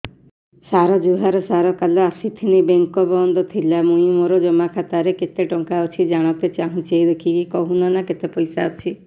ସାର ଜୁହାର ସାର କାଲ ଆସିଥିନି ବେଙ୍କ ବନ୍ଦ ଥିଲା ମୁଇଁ ମୋର ଜମା ଖାତାରେ କେତେ ଟଙ୍କା ଅଛି ଜାଣତେ ଚାହୁଁଛେ ଦେଖିକି କହୁନ ନା କେତ ପଇସା ଅଛି